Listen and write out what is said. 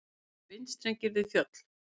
Snarpir vindstrengir við fjöll